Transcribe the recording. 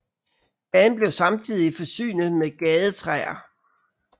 Gaden blev samtidig forsynet med gadetræer